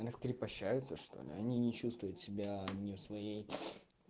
раскрепощаются что ли они не чувствуют себя не в своей